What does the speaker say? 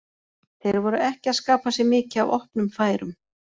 Þeir voru ekki að skapa sér mikið af opnum færum.